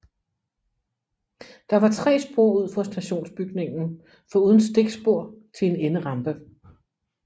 Der var 3 spor ud for stationsbygningen foruden stikspor til en enderampe